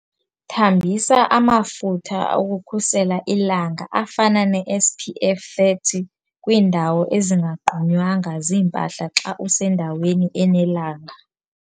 Thambisa amafutha okukhusela ilanga afana neSPF 30 kwiindawo ezingagqunywanga zimpahla xa usendaweni enelanga.